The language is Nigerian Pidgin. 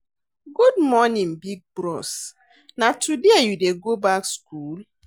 Good morning big bros, na today you dey go back skool?